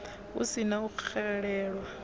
hu si na u xelelwa